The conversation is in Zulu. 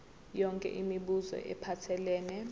yonke imibuzo ephathelene